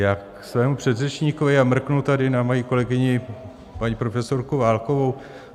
Já ke svému předřečníkovi a mrknu tady na svoji kolegyni paní profesorku Válkovou.